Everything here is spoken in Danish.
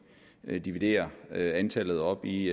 dividerer antallet op i